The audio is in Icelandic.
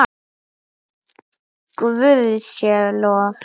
Guði sé lof!